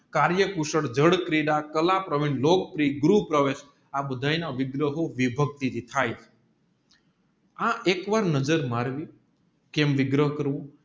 કાર્ય કુશળ જળક્રીડા કાલા કુશળ ગૃહ પ્રવેશ આ બધાય ના વિભક્તિ થાય આ એક વાર નજર મારવી કેમ વિગ્રહ કરવું